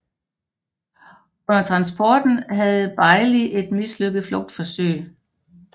Under transporten havde Beilig et mislykket flugtforsøg